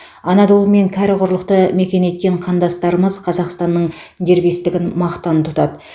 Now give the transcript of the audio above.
анадолы мен кәрі құрлықты мекен еткен қандастарымыз қазақстанның дербестігін мақтан тұтады